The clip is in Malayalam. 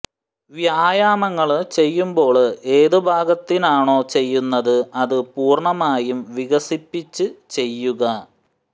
വ്യായാമങ്ങള് ചെയ്യുമ്പോള് ഏത് ഭാഗത്തിനാണോ ചെയ്യുന്നത് അത് പൂര്ണ്ണമായും വികസിപ്പിച്ച് ചെയ്യുക